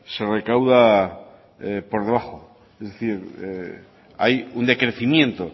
se recauda por debajo es decir hay un decrecimiento